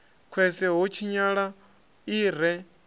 khwese ho tshinyala i re